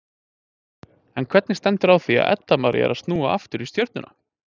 En hvernig stendur á því að Edda María er að snúa aftur í Stjörnuna?